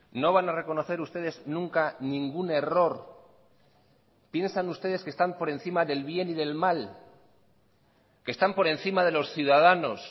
no van a reconocer ustedes nunca ningún error piensan ustedes que están por encima del bien y del mal que están por encima de los ciudadanos